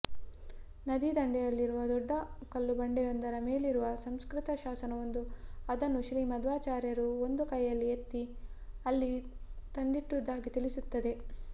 ನದೀದಂಡೆಯಲ್ಲಿರುವ ದೊಡ್ಡ ಕಲ್ಲುಬಂಡೆಯೊಂದರ ಮೇಲಿರುವ ಸಂಸ್ಕೃತ ಶಾಸನವೊಂದು ಅದನ್ನು ಶ್ರೀಮಧ್ವಾಚಾರ್ಯರು ಒಂದು ಕೈಯಲ್ಲಿ ಎತ್ತಿ ಅಲ್ಲಿ ತಂದಿಟ್ಟುದಾಗಿ ತಿಳಿಸುತ್ತದೆ